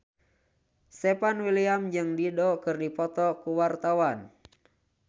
Stefan William jeung Dido keur dipoto ku wartawan